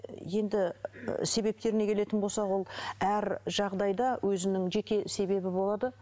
енді ыыы себептеріне келетін болсақ ол әр жағдайда өзінің жеке себебі болады